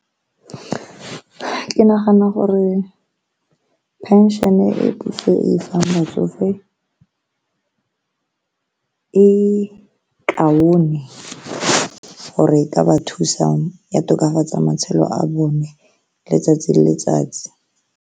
Ke nagana gore pension-e e puso e fang batsofe e kaone gore e ka ba thusa ya tokafatsa matshelo a bone letsatsi le letsatsi.